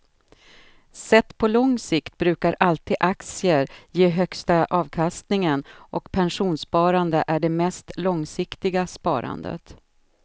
Sett på lång sikt brukar alltid aktier ge högsta avkastningen och pensionssparande är det mest långsiktiga sparandet.